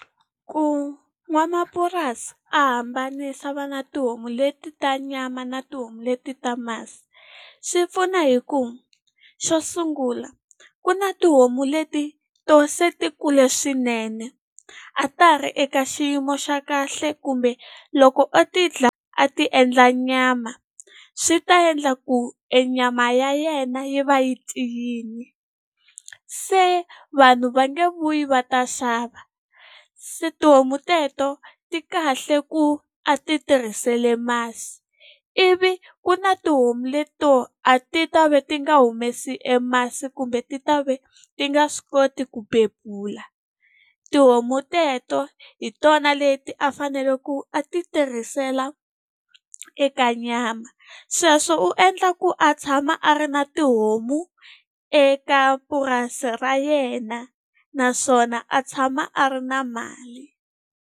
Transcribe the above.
Ku n'wamapurasi a hambanisa a va na tihomu leti ta nyama na tihomu leti ta masi, swi pfuna hi ku xo sungula ku na tihomu leti to se ti kule swinene, a ta ha ri eka xiyimo xa kahle kumbe loko ti dlaya a ti endla nyama swi ta endla ku e nyama ya yena yi va yi tiyile. Se vanhu va nge vuyi va ta xava. Se tihomu teto ti kahle ku a ti tirhisile masi. Ivi ku na tihomu leti to a ti ta va ti nga humesi e masi kumbe ti ta ve ti nga swi koti ku bebula. Tihomu teto hi tona leti a fanele ku a ti tirhisela eka nyama. Sweswo u endla ku a tshama a ri na tihomu eka purasi ra yena, naswona a tshama a ri na mali.